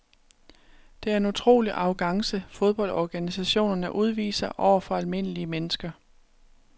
Det er en utrolig arrogance fodboldorganisationerne udviser over for almindelige mennesker.